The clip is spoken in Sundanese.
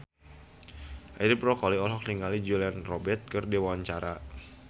Edi Brokoli olohok ningali Julia Robert keur diwawancara